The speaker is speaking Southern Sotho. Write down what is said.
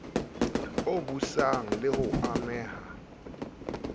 o busang le ho ameha